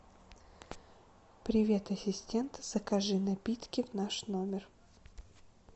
привет ассистент закажи напитки в наш номер